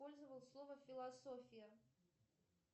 пользовал слово философия